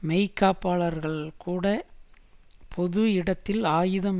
மெய்காப்பாளர்கள்கூட பொது இடத்தில் ஆயுதம்